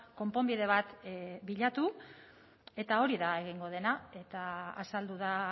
konponbide bat bilatu eta hori da egingo dena eta azaldu da